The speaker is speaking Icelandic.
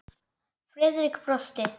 Friðrik brosti.